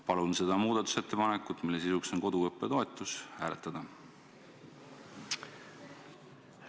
Palun seda muudatusettepanekut, mille sisuks on koduõppe toetus, hääletada!